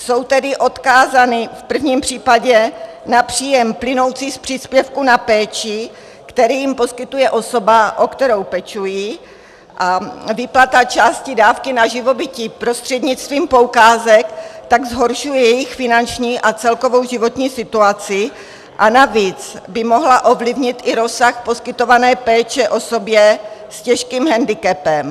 Jsou tedy odkázány v prvním případě na příjem plynoucí z příspěvku na péči, který jim poskytuje osoba, o kterou pečují, a výplata části dávky na živobytí prostřednictvím poukázek tak zhoršuje jejich finanční a celkovou životní situaci a navíc by mohla ovlivnit i rozsah poskytované péče osobě s těžkým hendikepem.